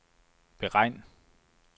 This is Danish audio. beregn